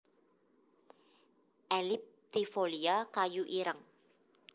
elliptifolia kayu ireng